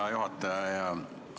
Hea juhataja!